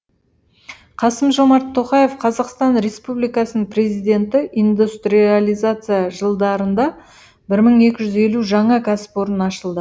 қасым жомарт тоқаев қазақстан республикасының президенті индустрализация жылдарында бір мың екі жүз елу жаңа кәсіпорын ашылды